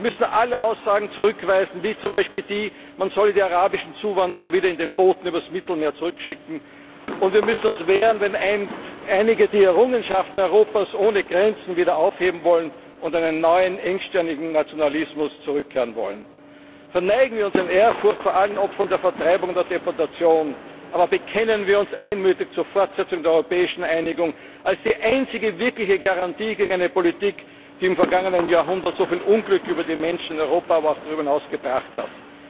Wir müssen alle Aussagen zurückweisen wie etwa die, man müsse die arabischen Zuwanderer wieder in den Booten über das Mittelmeer zurückschicken, und wir müssen uns wehren, wenn einige die Errungenschaften Europas ohne Grenzen wieder aufheben wollen und zu einem neuen engstirnigen Nationalismus zurückkehren wollen. Verneigen wir uns in Ehrfurcht vor allen Opfern von Vertreibung und Deportationen, aber bekennen wir uns einmütig zur Fortsetzung der europäischen Einigung als der einzigen wirklichen Garantie gegen eine Politik, die im vergangenen Jahrhundert so viel Unglück über die Menschen in Europa, aber auch darüber hinaus gebracht hat!